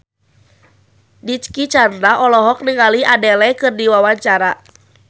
Dicky Chandra olohok ningali Adele keur diwawancara